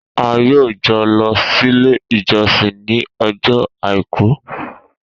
A yoo jọ lọ sílé ìjọsìn ni ọjọ àìkú